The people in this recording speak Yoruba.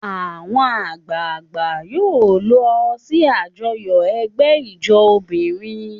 Àwọn àgbààgbà yóò lọ sí àjọyọ̀ ẹgbẹ́ ijó obìnrin.